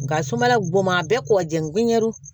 Nga sumaya bon ma a bɛɛ kɔkɔji